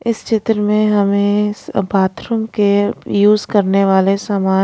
इस चित्र में हमें बाथरूम के यूज करने वाले सामान--